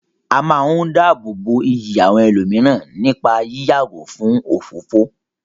A máa ń dáàbò bo iyì àwọn ẹlòmíràn nípá yí yàgò fún òfófó.